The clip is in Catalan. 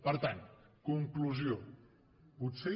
per tant conclusió potser